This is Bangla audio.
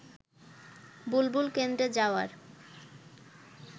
বুলবুল কেন্দ্রে যাওয়ার